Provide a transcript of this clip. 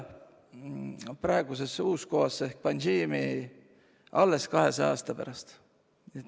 Praegune Uus-Goa ehk Panaji sai pealinnaks alles 200 aasta pärast.